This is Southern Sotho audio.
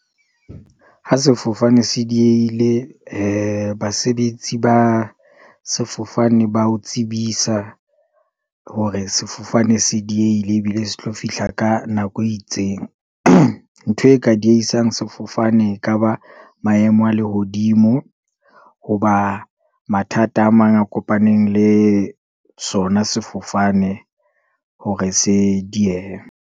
Ha sefofane se diehile, basebetsi ba sefofane ba o tsebisa, hore sefofane se diehile, ebile se tlo fihla ka nako e itseng. ntho e ka diehisang sefofane ekaba maemo a lehodimo, hoba mathata a mang a kopaneng le sona sefofane hore se diehe.